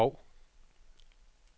Bov